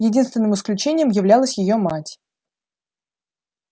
единственным исключением являлась её мать